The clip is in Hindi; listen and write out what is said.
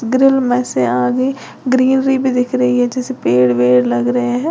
ग्रिल में से आगे ग्रीनरी भी दिख रही है जैसे पेड़ वेड लग रहे हैं।